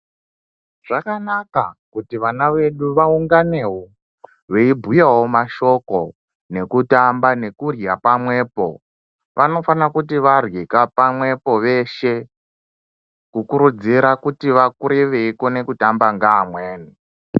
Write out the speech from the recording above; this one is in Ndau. Zvakanaka kuti vana vedu vaunganewo veibhuyawo mashoko, nekutamba nekurya pamwepo. Vanofana kuti varyeka pamwepo veshe kukurudzira kuti vakure veikona kutamba ngaamweni.